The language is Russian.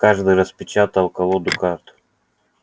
каждый распечатал колоду карт